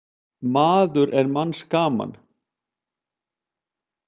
Maður er manns gaman.